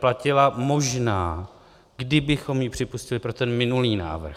Platila možná, kdybychom ji připustili, pro ten minulý návrh.